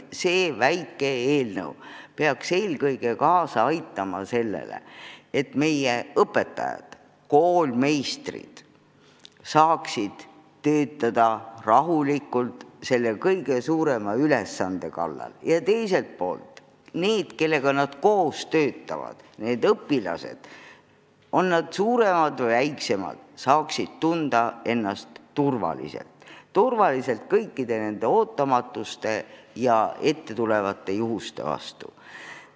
See väike eelnõu peaks eelkõige kaasa aitama sellele, et meie õpetajad, koolmeistrid saaksid rahulikult täita oma kõige suuremat ülesannet ja et need, kellega nad töötavad – suuremad või väiksemad õpilased –, saaksid tunda ennast turvaliselt ja olla kaitstud kõikide ettetulevate intsidentide vastu.